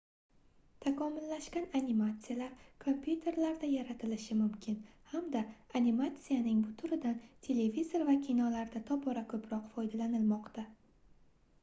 takomillashgan animatsiyalar kompyuterlarda yaratilishi mumkin hamda animatsiyaning bu turidan televizor va kinolarda tobora koʻproq foydalanilmoqda